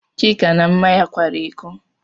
Chika na Mma kwara ịkọ.